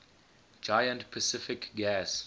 giant pacific gas